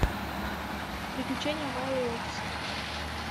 приключения майло и отиса